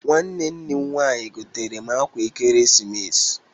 Nwanne nne m nwaanyị gotere m ákwà ekeresimesi.